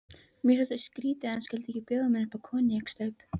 Mér þótti skrýtið, að hann skyldi ekki bjóða mér koníaksstaup.